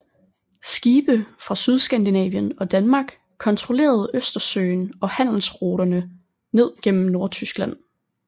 Skibe fra Sydskandinavien og Danmark kontrollerede Østersøen og handelsruterne ned gennem Nordtyskland